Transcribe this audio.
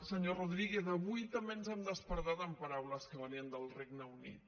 senyor rodríguez avui també ens hem despertat amb paraules que venien del regne unit